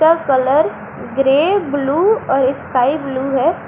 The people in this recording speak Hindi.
कलर ग्रे ब्लू और स्काई ब्लू है।